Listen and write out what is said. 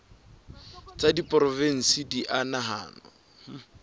tsa diporofensi di a nahanwa